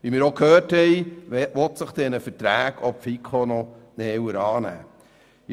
Wie wir auch gehört haben, will sich die FiKo diesen Verträgen noch genauer annehmen.